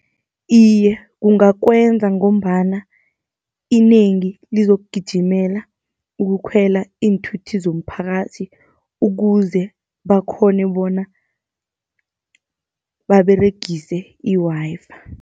Iye, kungakwenza ngombana inengi lizokugijimela ukukhwela iinthuthi zomphakathi, ukuze bakghone bona baberegise i-Wi-Fi.